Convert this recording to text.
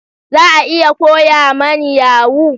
Za a iya koya mani yahoo?